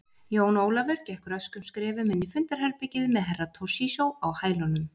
Jón Ólafur gekk röskum skrefum inn í fundarherbergið með Herra Toshizo á hælunum.